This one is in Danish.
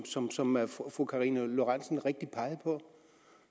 som som fru karina lorentzen dehnhardt rigtigt peger på